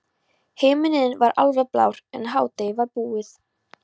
Himinninn var alveg blár en hádegið var búið.